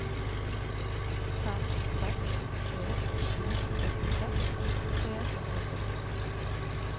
fem seks tre sju åttiseks tre hundre og sytten